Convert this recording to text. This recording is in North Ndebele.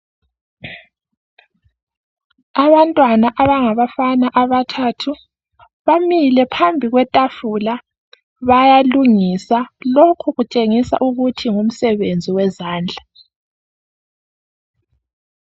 Abantwana abangabafana abathathu bamile phambi kwetafula bayalungisa lokhu kutshengisa ukuthi ngumsebenzi wezandla.